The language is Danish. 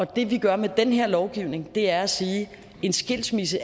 det vi gør med den her lovgivning er at sige at en skilsmisse